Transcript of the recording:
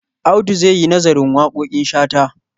Audu za yi nazarin waƙoƙin Shata.